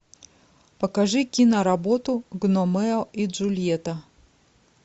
покажи киноработу гномео и джульетта